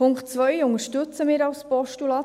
Den Punkt 2 unterstützen wir als Postulat.